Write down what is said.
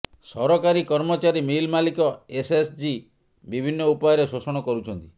ସରକାରୀ କର୍ମଚାରୀ ମିଲ୍ ମାଲିକ ଏସ୍ଏଚ୍ଜି ବିଭିନ୍ନ ଉପାୟରେ ଶୋଷଣ କରୁଛନ୍ତି